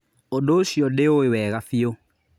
ũndũ ũcio ndĩwũĩ wega biũ